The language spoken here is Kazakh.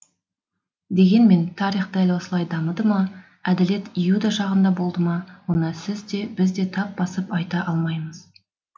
дегенмен тарих дәл осылай дамыды ма әділет иуда жағында болды ма оны сіз де біз де тап басып айта алмаймыз